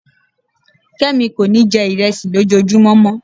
kemi kọ ní jẹ iresi lòjojúmo mọ